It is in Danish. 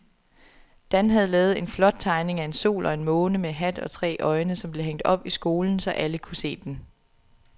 Dan havde lavet en flot tegning af en sol og en måne med hat og tre øjne, som blev hængt op i skolen, så alle kunne se den.